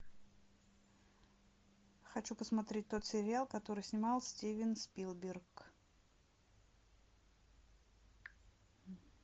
хочу посмотреть тот сериал который снимал стивен спилберг